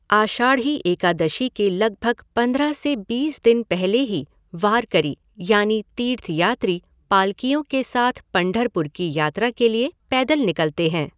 आषाढ़ी एकादशी के लगभग पंद्रह से बीस दिन पहले ही वारकरी यानी तीर्थयात्री पालकियों के साथ पंढरपुर की यात्रा के लिए पैदल निकलते हैं।